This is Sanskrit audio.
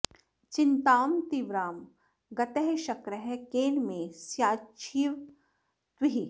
चिन्तां तीव्रां गतः शक्रः केन मे स्याच्छिवं त्विह